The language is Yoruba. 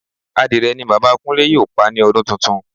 Adìrẹ ni Bàbá Kúnlé yóò pa ní ọdún tuntun